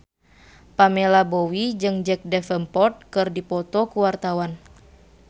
Pamela Bowie jeung Jack Davenport keur dipoto ku wartawan